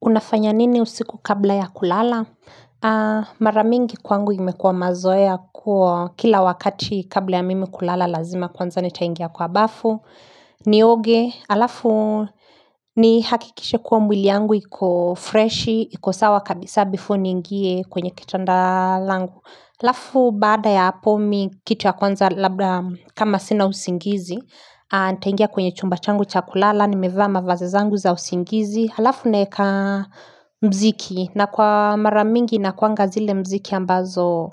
Unafanya nini usiku kabla ya kulala? Mara mingi kwangu imekuwa mazoea kuwa kila wakati kabla ya mimi kulala lazima kwanza nitaingia kwa bafu. Nioge, alafu nihakikishe kwa mwili yangu iko fresh, iko sawa kabisa before niingie kwenye ketanda langu. Lafu baada ya apo mi kitu ya kwanza kama sina usingizi Ntaingia kwenye chumba changu cha kulala Nimevaa mavazi zangu za usingizi Halafu neka mziki na kwa mara mingi nakuanga zile mziki ambazo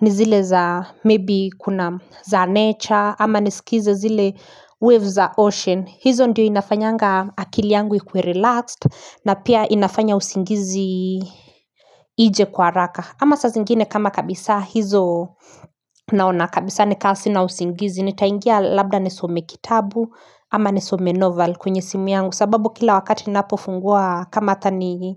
ni zile za maybe kuna za nature Ama nisikize zile waves za ocean hizo ndio inafanyanga akili yangu ikuwe relaxed na pia inafanya usingizi ije kwa araka Ama sa zingine kama kabisa hizo naona kabisa ni kasi na usingizi Nitaingia labda nisome kitabu ama nisome novel kwenye simu yangu sababu kila wakati napofungua kama hata ni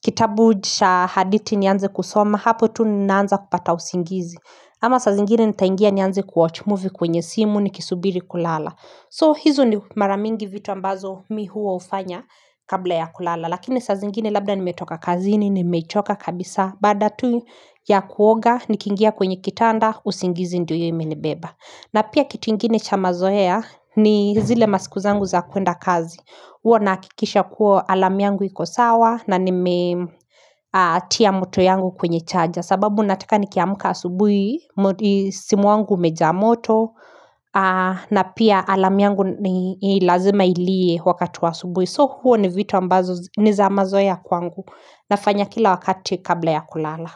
kitabu cha haditi nianze kusoma Hapo tu naanza kupata usingizi Ama sa zingine ni taingia ni anze kuwatch movie kwenye simu nikisubiri kulala So hizo ni mara mingi vitu ambazo mi huwa ufanya kabla ya kulala Lakini saa zingine labda nimetoka kazini, nimechoka kabisa Baada tu ya kuoga, nikiingia kwenye kitanda, usingizi ndio iyo imenibaba na pia kitu ingine cha mazoea ni zile masiku zangu za kuenda kazi huo nahakikisha kuwa alarm yangu iko sawa na nimetia moto yangu kwenye chaja sababu nataka nikiamka asubuhi, simu wangu umejaa moto na pia alarm yangu lazima ilie wakati wa asubui So huo ni vitu ambazo ni za mazoe ya kwangu nafanya kila wakati kabla ya kulala.